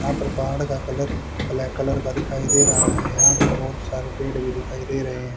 यहां पर पहाड़ का कलर ब्लैक कलर का दिखाई दे रा है यहां पर बहुत सारे पेड़ भी दिखाई दे रहे है।